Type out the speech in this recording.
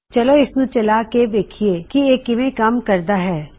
ਚਲੋ ਇਸਨੂੰ ਚਲਾ ਕੇ ਵੇਖਿਏ ਕਿ ਇਹ ਕਿਵੇਂ ਕੰਮ ਕਰਦਾ ਹੈ